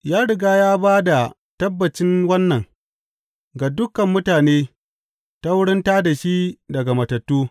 Ya riga ya ba da tabbacin wannan ga dukan mutane ta wurin tā da shi daga matattu.